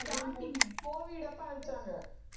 starting covid அப்ப அனுப்பிச்சாங்க